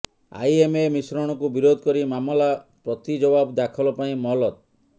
IMA ମିଶ୍ରଣକୁ ବିରୋଧ କରି ମାମଲା ପ୍ରତିଜବାବ ଦାଖଲ ପାଇଁ ମହଲତ